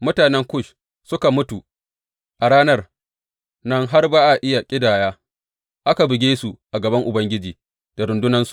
Mutanen Kush suka mutu a ranan nan har ba a iya ƙidaya, aka buge su a gaban Ubangiji da rundunansa.